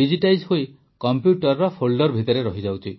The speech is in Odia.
ଡିଜିଟାଇଜ୍ ହୋଇ କମ୍ପ୍ୟୁଟରର ଫୋଲ୍ଡର୍ ଭିତରେ ରହିଯାଉଛି